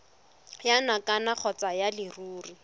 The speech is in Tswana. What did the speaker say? ya nakwana kgotsa ya leruri